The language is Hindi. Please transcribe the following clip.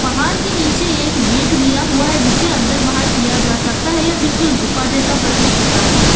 पहाड़ के नीचे एक गेट दिया हुआ है जिसे अंदर बाहर किया जा सकता है या बिल्कुल गुफा जैसा प्रतीत होता है।